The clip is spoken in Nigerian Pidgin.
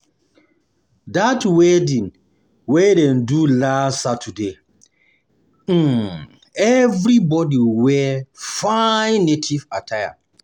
Dat wedding wey dem wedding wey dem do last um Saturday, um everybodi just wear fine native attire.